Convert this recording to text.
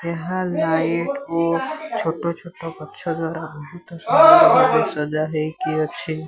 ଏହା ଲାଇଟ୍ କୁ ଛୋଟ ଛୋଟ ଗଛ ଦ୍ଵାରା ବୋହୁତ ସଜା ହୋଇକି ଅଛି।